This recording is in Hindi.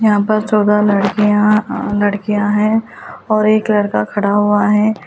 यहाँ पर चौदह लड़कियाँ अ लड़कियाँ हैं और एक लड़का खड़ा हुआ है।